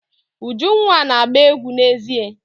Ujunwa na-agba egwu n'èzí.